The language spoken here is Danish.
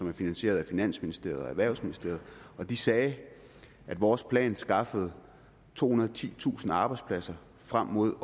er finansieret af finansministeriet og erhvervsministeriet og de sagde at vores plan skaffede tohundrede og titusind arbejdspladser frem mod